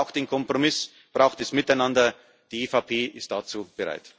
Europa braucht den Kompromiss, braucht das Miteinander Die EVP ist dazu bereit.